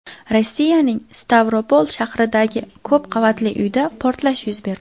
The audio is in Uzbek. Rossiyaning Stavropol shahridagi ko‘p qavatli uyda portlash yuz berdi.